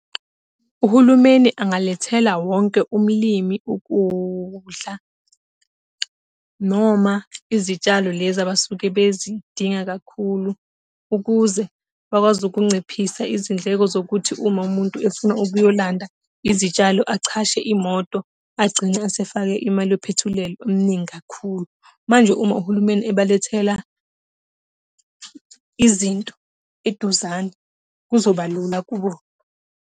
Uhulumeni angalethela wonke umlimi ukudla noma izitshalo lezi abasuke bezidinga kakhulu. Ukuze bakwazi ukunciphisa izindleko zokuthi uma umuntu efuna ukuyolanda izitshalo achashe imoto, agcine esefake imali yophethileli ominingi kakhulu. Manje uma uhulumeni ebalethela izinto eduzane kuzobalula kubo.